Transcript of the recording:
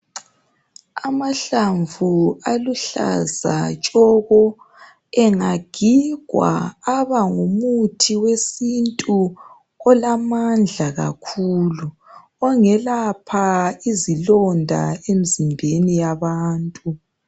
Amahlamvu aluhlaza tshoko engagigwa abangumuthi wesintu olamandla kakhulu ongelapha izilonda emzimbeni yabantu.